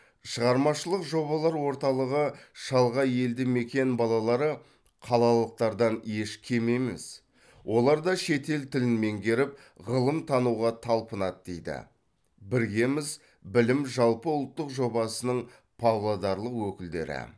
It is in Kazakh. шығармашылық жобалар орталығы шалғай елді мекен балалары қалалықтардан еш кем емес олар да шетел тілін меңгеріп ғылым тануға талпынады дейді біргеміз білім жалпыұлттық жобасының павлодарлық өкілдері